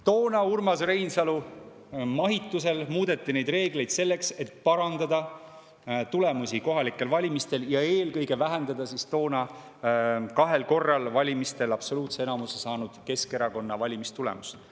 Toona muudeti Urmas Reinsalu mahitusel neid reegleid selleks, et parandada tulemusi kohalikel valimistel ja eelkõige toona valimistel kahel korral absoluutse enamuse saanud Keskerakonna valimistulemust.